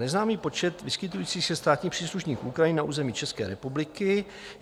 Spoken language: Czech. Neznámý počet vyskytujících se státních příslušníků Ukrajiny na území České republiky.